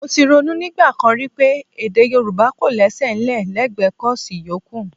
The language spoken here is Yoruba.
Mo ti ronú nígbà kan rí pé Èdè Yorùbá kọ̀ lésẹ̀ ńlẹ̀ lẹ́gbẹ kọ́ọ̀sì yòókù